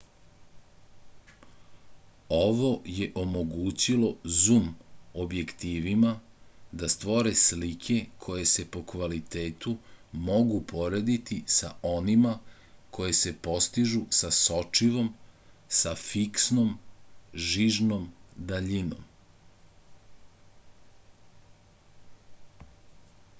ovo je omogućilo zum objektivima da stvore slike koje se po kvalitetu mogu porediti sa onima koje se postižu sa sočivom sa fiksnom žižnom daljinom